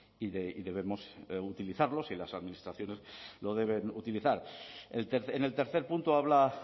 y debemos utilizarlos y las administraciones lo deben utilizar en el tercer punto habla